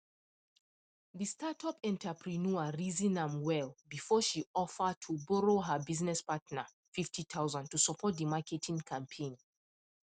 the startup entrepreneur reason am well before she offer to borrow her business partner fifty thousand to support the marketing campaign